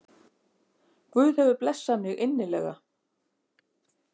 Guð hefur blessað mig innilega